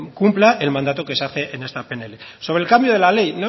cumpla el mandato que se hace en esta pnl sobre el cambio de la ley